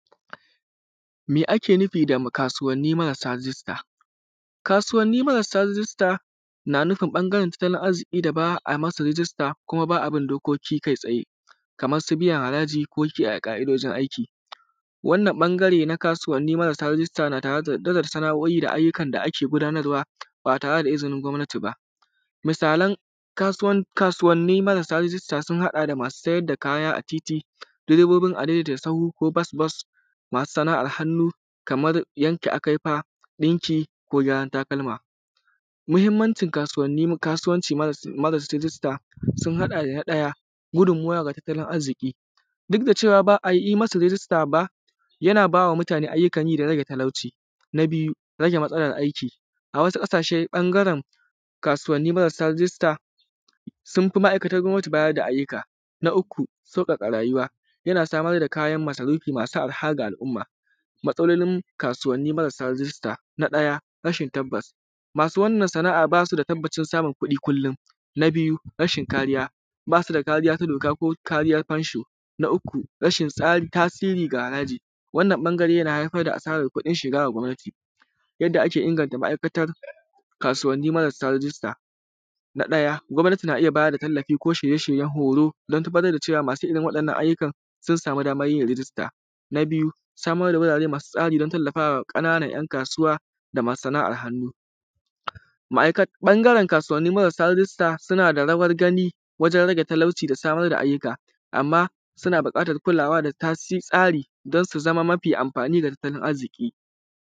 Me ake nufi fa kasuwanni marasa rijista? Kasuwanni maasa rijista yana nufin kasuwancin marasa rijista, kuma ba a bin dokoki kai tsaye kamar su biyan haraji ko kiyaye ƙaidojin aiki. Wannan ɓangare na kasuwanni marasa rijista na tare da tattalan sano’i da ayyukan da ake gudanarwa ba tare da izinin gwamnati ba. Misalan kasuwanni marasa rijista sun haɗa da: masu sayar da kaya a titi, durebobbin adaidaita sahu ko kuma bos-bos ko kuma masu sana’ar hannu kaman yanka akaifa, ɗinki ko gyaran takalma. Muhinmanci kasuwanci marasa rijinsta sun haɗa: na ɗaya, gudunmuwa daga tattalin arziki duk da cewa ba a yi masa rijista ba, yana ba wa mutane ayyukan yi da rage talauci, na biyu rage matsalar aiki a wasu ƙasashe ɓangare kasuwanni marasa rijista sun fi ma’aikatan gwamnati bada ayyuka. Na uku sauƙaƙa rayuwa, yana samar da kayan masarufi masu arha ga al’umma. Matsalolin kasuwanni marasa rijista, na ɗaya rashin tabbas, masu wannan sana’a ba su da tabbacin samun kuɗi kullum, na biyu rashin kariya, ba su da kariya na doka ko kariyan fensho, na uku rashin tasiri ga haraji wannan ɓangare yana haifar da asaran kuɗin shiga da gwamnati yadda ake inganta ma’aikatan kasuwanni marasa rijista ɗaya gwamnati na iya bada tallafi ko shirye-shiryen horo dan tabbatar da cewa masu irin wannan ayyukan don su samu damar yin rigista. Na biyu samar da gurare masu tsari don tallafawa ƙananan ‘yan kasuwa da ma sana’ar hannu, ɓangaren kasauwanni marasa rijista suna da rawar gani wajen talauci da samar da ayyuka amma suna buƙatan kulawa da tasi tsari don su zama mafi amfani da tattalin arziki.